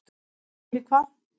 Og fyrir hvað?